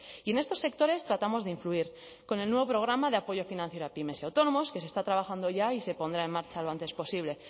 y en estos sectores tratamos de influir con el nuevo programa de apoyo financiero a pymes y autónomos que se está trabajando ya y se pondrá en marcha lo antes posible